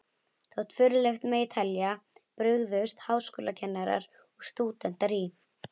Þótt furðulegt megi telja, brugðust háskólakennarar og stúdentar í